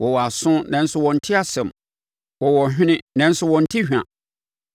Wɔwɔ aso, nanso wɔnte asɛm; wɔwɔ hwene, nanso wɔnte hwa.